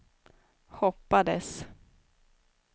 hoppades